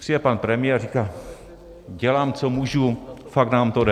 Přijde pan premiér a říká: Dělám, co můžu, fakt nám to jde.